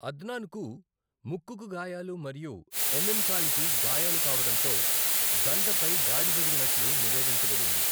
అద్నాన్కు ముక్కుకు గాయాలు మరియు ఎమిన్ కాలికి గాయాలు కావడంతో జంటపై దాడి జరిగినట్లు నివేదించబడింది.